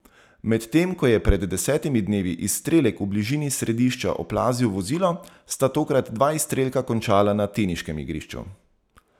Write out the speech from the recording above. Medtem ko je pred desetimi dnevi izstrelek v bližini strelišča oplazil vozilo, sta tokrat dva izstrelka končala na teniškem igrišču.